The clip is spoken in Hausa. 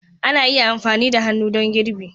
Ana iya amfani da hannu don girbi